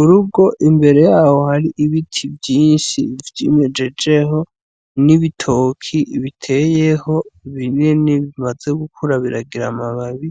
Urugo imbere yaho hari ibiti vyinshi vyimejejeho n'ibitoki biteyeho binini bimaze gukura biragira amababi